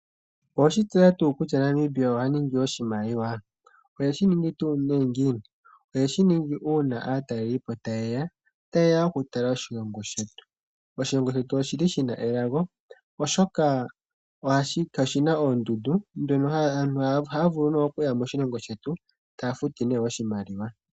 Oweshi tseya tuu kutya Namibia oha ningi oshimaliwa? Ohe shi ningi tuu nee ngini? Oheshi ningi una aatalelipo tayeya tayeya oku tala oshilongo shetu. Oshilongo shetu oshili shina elago oshoka oshina oondundu aantu oha vulu ne oku ya moshilongo shetu taya futu nee oshimaliwa.